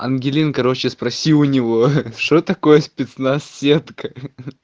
ангелин короче спроси у него что такое спецназ сетка ха-ха